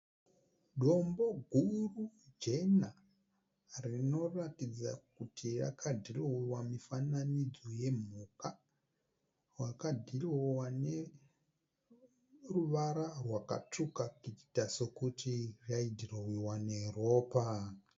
Dombo guru jena rinoratidza kuti rakadhirowewa mifananidzo yemhuka. Wakadhirowewa neruvara rwakatsvuka kuita sekuti yaidhirowewa neropa.